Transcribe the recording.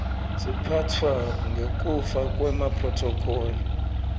siphatfwa ngekuya kwemaphrothokholi